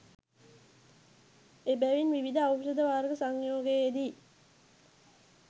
එබැවින් විවිධ ඖෂධ වර්ග සංයෝගයේදී